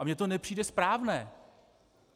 A mně to nepřijde správné.